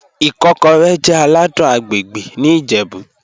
Ikọ́rẹ̀ jẹ́ àlàdùn àgbègbè̀ ní Ìjẹ̀bú.